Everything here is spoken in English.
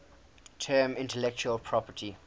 term intellectual property